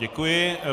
Děkuji.